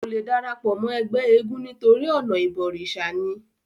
kò le darapọ̀ mọ́ ẹgbẹ́ eégún nítorí ọ̀nà ìbọ̀rìsà ni